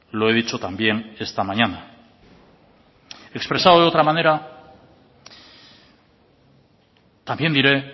lo he dicho también esta mañana expresado de otra manera también diré